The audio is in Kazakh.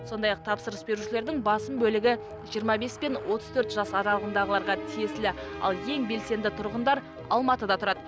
сондай ақ тапсырыс берушілердің басым бөлігі жиырма бес пен отыз төрт жас араларындағыларға тиесілі ал ең белсенді тұрғындар алматыда тұрады